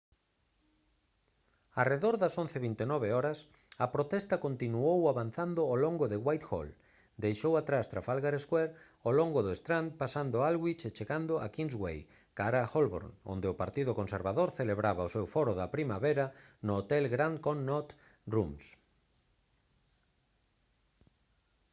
arredor das 11:29 h a protesta continuou avanzando ao longo de whitehall deixou atrás trafalgar square ao longo do strand pasando aldwych e chegando a kingsway cara a holborn onde o partido conservador celebraba o seu foro de primavera no hotel grand connaught rooms